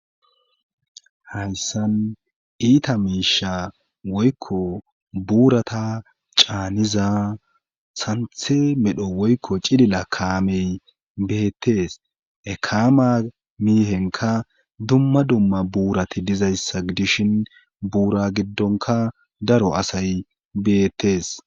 Hayssan iita miisha woykko buurata caaniza santhe medhdho woykko cilila kaamey beettes he kama miihenka dumma dumma buurati dizayssa dishin buura giddonka daro asay beettees